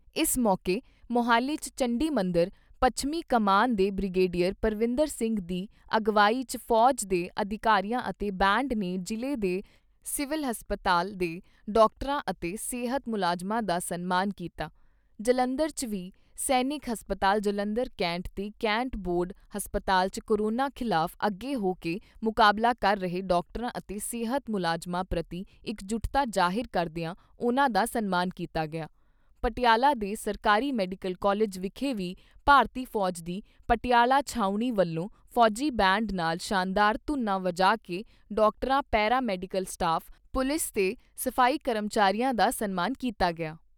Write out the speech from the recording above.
ਇਸ ਮੌਕੇ ਮੌਹਾਲੀ 'ਚ ਚੰਡੀਮੰਦਰ, ਪੱਛਮੀ ਕਮਾਨ ਦੇ ਬ੍ਰਿਗੇਡੀਅਰ ਪਰਵਿੰਦਰ ਸਿੰਘ ਦੀ ਅਗਵਾਈ 'ਚ ਫੌਜ ਦੇ ਅਧਿਕਾਰੀਆਂ ਅਤੇ ਬੈਂਡ ਨੇ ਜਿਲ੍ਹੇ ਦੇ ਸਿਵਲ ਹਸਪਤਾਲ ਦੇ ਡਾਕਟਰਾਂ ਅਤੇ ਸਿਹਤ ਮੁਲਾਜਮਾਂ ਦਾ ਸਨਮਾਨ ਕੀਤਾ। ਜਲੰਧਰ 'ਚ ਵੀ ਸੈਨਿਕ ਹਸਪਤਾਲ ਜਲੰਧਰ ਕੈਂਟ ਤੇ ਕੈਂਟ ਬੋਰਡ ਹਸਪਤਾਲ 'ਚ ਕੋਰੋਨਾ ਖਿਲਾਫ ਅੱਗੇ ਹੋ ਕੇ ਮੁਕਾਬਲਾ ਕਰ ਰਹੇ ਡਾਕਟਰਾਂ ਅਤੇ ਸਿਹਤ ਮੁਲਾਜਮਾਂ ਪ੍ਰਤੀ ਇਕਜੁਟਤਾ ਜਾਹਿਰ ਕਰਦਿਆਂ ਉਨ੍ਹਾਂ ਦਾ ਸਨਮਾਨ ਕੀਤਾ ਗਿਆ। ਪਟਿਆਲਾ ਦੇ ਸਰਕਾਰੀ ਮੈਡੀਕਲ ਕਾਲਜ ਵਿਖੇ ਵੀ ਭਾਰਤੀ ਫੌਜ ਦੀ ਪਟਿਆਲਾ ਛਾਊਣੀ ਵਲੋਂ ਫੌਜੀ ਬੈਂਡ ਨਾਲ ਸ਼ਾਨਦਾਰ ਧੁਨਾ ਵਜਾ ਕੇ ਡਾਕਟਰਾਂ, ਪੈਰਾ ਮੈਡੀਕਲ ਸਟਾਫ, ਪੁਲਿਸ ਤੇ ਸਫ਼ਾਈ ਕਰਮਚੀਆਂ ਦਾ ਸਨਮਾਨ ਕੀਤਾ ਗਿਆ।